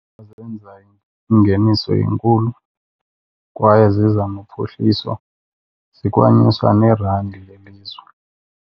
Zenza ingeniso enkulu kwaye ziza nophuhliso, zikwanyuswa neerandi lelizwe.